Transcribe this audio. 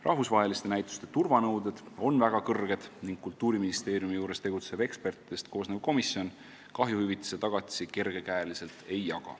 Rahvusvaheliste näituste turvanõuded on väga kõrged ning Kultuuriministeeriumi juures tegutsev ekspertidest koosnev komisjon kahjuhüvitise tagatisi kergekäeliselt ei jaga.